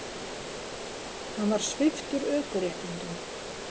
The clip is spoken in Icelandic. Hann var sviptur ökuréttindum